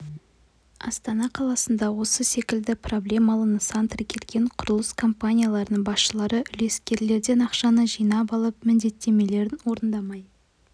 астана қаласында осы секілді проблемалы нысан тіркелген құрылыс компанияларының басшылары үлескерлерден ақшаны жинап алып міндеттемелерін орындамай